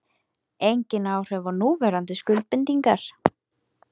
Engin áhrif á núverandi skuldbindingar